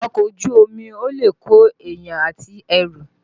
Ọkọ̀ Ojú omi lè kóyàn àti ẹrù